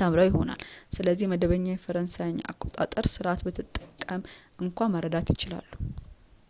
ተምረው ይሆናል ስለዚህም መደበኛ የፈረንሳይን አቆጣጠር ስርዓት ብትጠቀምም እንኳን መረዳት ይችላሉ